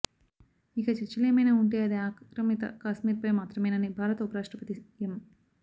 ఇక చర్చలేమైనా ఉంటే అది ఆక్రమిత కశ్మీర్పై మాత్రమేనని భారత ఉపరాష్ట్రపతి ఎం